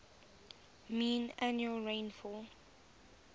mean annual rainfall